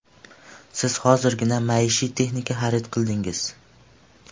Siz hozirgina maishiy texnika xarid qildingiz.